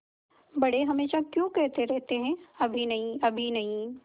बड़े हमेशा क्यों कहते रहते हैं अभी नहीं अभी नहीं